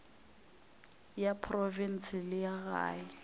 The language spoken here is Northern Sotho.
ya profense le ya gae